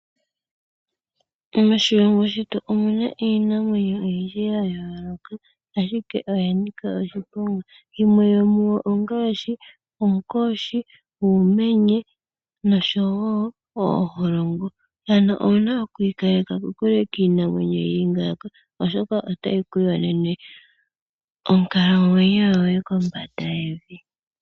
Moshilongo shetu omuna iinamwenyo oyindji ya yooloka ashike oya nika oshiponga, yimwe yomuyo ongaashi oonkoshi, uumenye osho wo ooholongo. Owu na oku ikaleka kokule niinamwenyo yatya ngaaka oshoka otayi ku yonene onkalamwenyo yoye kombanda yevi